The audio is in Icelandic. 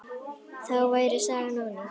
Þá væri sagan ónýt.